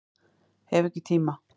Hef ekki tíma